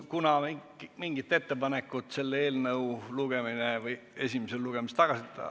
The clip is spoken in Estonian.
Kuna mingit ettepanekut selle eelnõu esimesel lugemisel ...